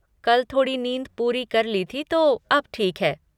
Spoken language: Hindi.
कल थोड़ी नींद पूरी कर ली थी, तो अब ठीक है।